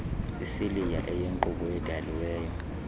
isiliya eyinkqubo edaliweyo